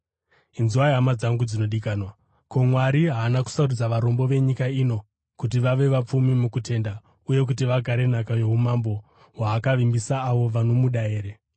Inzwai, hama dzangu dzinodikanwa: Ko, Mwari haana kusarudza varombo venyika ino kuti vave vapfumi mukutenda uye kuti vagare nhaka youmambo hwaakavimbisa avo vanomuda here?